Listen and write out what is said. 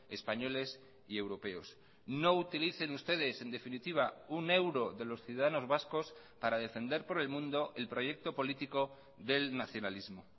españoles y europeos no utilicen ustedes en definitiva un euro de los ciudadanos vascos para defender por el mundo el proyecto político del nacionalismo